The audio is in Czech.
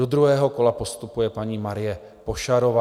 Do druhého kola postupuje paní Marie Pošarová.